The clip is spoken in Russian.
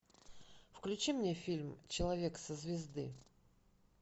включи мне фильм человек со звезды